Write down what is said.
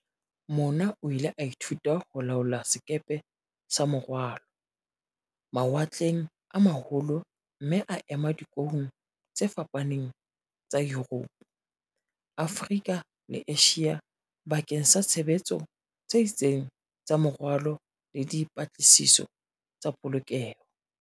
Mona o ile a ithuta ho laola sekepe sa morwalo, mawatleng a ma holo mme a ema dikoung tse fapaneng tsa Yuropo, Afrika le Asia bakeng sa tshebetso tse itseng tsa morwalo le di -patlisiso tsa polokeho.